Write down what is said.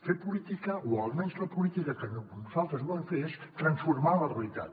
fer política o almenys la política que nosaltres volem fer és transformar la realitat